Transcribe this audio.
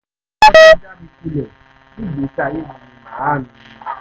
ẹni àkọ́kọ́ tó já mi kulẹ̀ nígbèsí ayé mi ni màámi